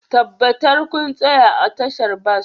Tabbatar kun tsaya a tashar bas